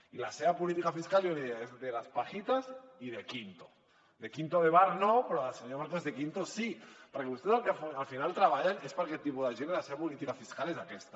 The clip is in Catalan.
i la seva política fiscal jo li ho deia és de las pajitas i de quinto de quinto de bar no però del senyor marcos de quinto sí perquè vostès per al que al final treballen és per a aquest tipus de gent i la seva política fiscal és aquesta